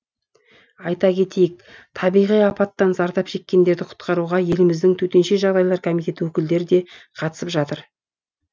айта кетейік табиғи апаттан зардап шеккендерді құтқаруға еліміздің төтенше жағдайлар комитеті өкілдері де қатысып жатыр